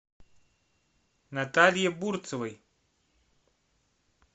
наталье бурцевой